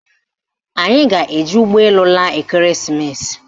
Anyị ga-eji ụgbọelu laa ekereesimesi